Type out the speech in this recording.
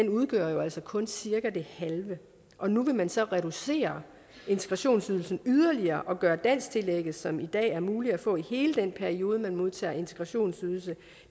udgør jo altså kun cirka det halve og nu vil man så reducere integrationsydelsen yderligere og gøre dansktillægget som i dag er muligt at få i hele den periode man modtager integrationsydelse